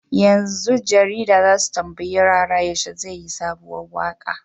Yanzu jarida zasu tambayi rara yaushe zai yi sabuwar waƙa